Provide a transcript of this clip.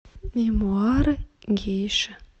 мемуары гейши